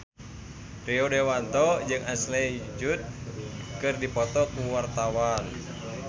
Rio Dewanto jeung Ashley Judd keur dipoto ku wartawan